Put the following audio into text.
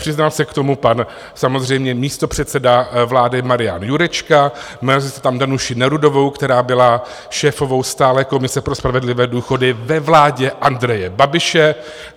Přiznal se k tomu pan samozřejmě místopředseda vlády Marian Jurečka, měli jste tam Danuši Nerudovou, která byla šéfovou stálé komise pro spravedlivé důchody ve vládě Andreje Babiše.